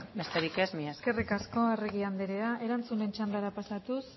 besterik ez mila esker eskerrik asko arregi andrea erantzunen txandara pasatuz